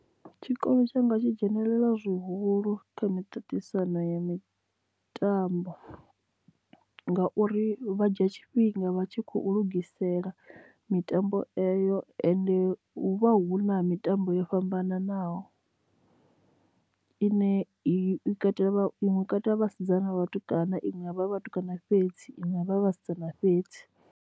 Tshikolo tshanga tshi dzhenelela zwihulu kha miṱaṱisano ya mitambo ngauri vha dzhia tshifhinga vha tshi khou lugisela mitambo eyo ende hu vha hu na mitambo yo fhambananaho ine i katela katela vhasidzana na vhatukana iṅwe yavha i vhatukana fhedzi iṅwe avha vhasidzana fhedzi.